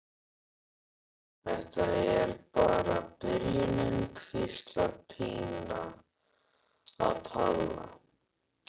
Þetta er bara byrjunin, hvíslar Pína að Palla.